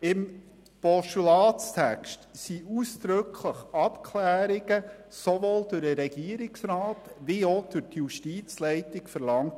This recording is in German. Im Postulatstext werden ausdrücklich Abklärungen sowohl durch den Regierungsrat als auch durch die Justizleitung verlangt.